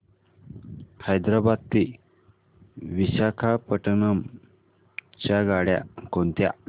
हैदराबाद ते विशाखापट्ण्णम च्या गाड्या कोणत्या